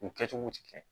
U kɛcogow ti kɛ